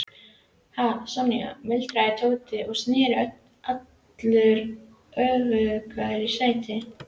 Hana Sonju? muldraði Tóti og sneri allur öfugur í sætinu.